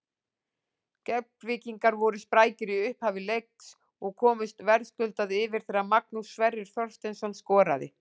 Keflvíkingar voru sprækari í upphafi leiks og komust verðskuldað yfir þegar Magnús Sverrir Þorsteinsson skoraði.